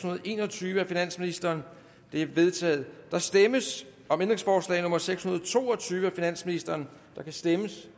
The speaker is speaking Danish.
og en og tyve af finansministeren det er vedtaget der stemmes om ændringsforslag nummer seks hundrede og to og tyve af finansministeren der kan stemmes